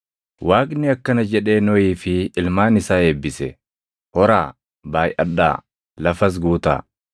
Waaqni akkana jedhee Nohii fi ilmaan isaa eebbise; “Horaa, baayʼadhaa, lafas guutaa.